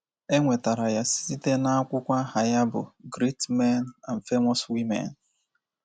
E nwetara ya site n’akwụkwọ aha ya bụ́ Great Men and Famous Women.